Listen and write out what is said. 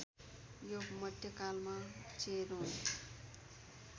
यो मध्यकालमा चेरोन